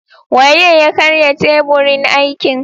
Waye ya karya teburin aikin?